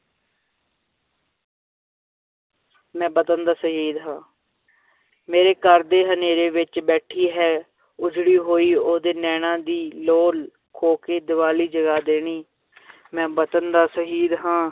ਮੈਂ ਵਤਨ ਦਾ ਸ਼ਹੀਦ ਹਾਂ ਮੇਰੇ ਘਰ ਦੇ ਹਨੇਰੇ ਵਿੱਚ ਬੈਠੀ ਹੈ ਉਜੜੀ ਹੋਈ ਉਹਦੇ ਨੈਣਾਂ ਦੀ ਲੋ ਖੋਹ ਕੇ, ਦੀਵਾਲੀ ਜਗਾ ਦੇਣੀ ਮੈਂ ਵਤਨ ਦਾ ਸ਼ਹੀਦ ਹਾਂ,